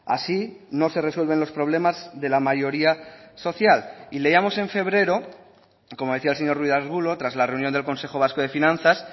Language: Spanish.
así no se resuelven los problemas de la mayoría social y leíamos en febrero como decía el señor ruiz de arbulo tras la reunión del consejo vasco de finanzas